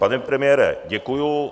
Pane premiére, děkuji.